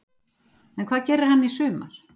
En hvað gerir hann í sumar?